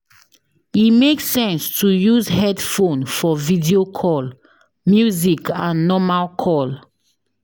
E make sense to use headphone for video call, music and normal call